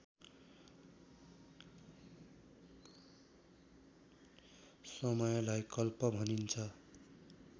समयलाई कल्प भनिन्छ